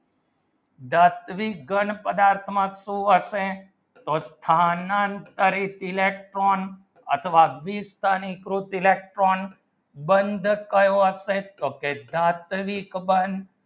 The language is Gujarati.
ધાત્વિક ઘન પદાર્થમાં શું હશે તો સ્થાનાંતરિત electron અથવા બીજ તેની કૃત electron બંધ કયો અસ્તિત તો કરી બંદ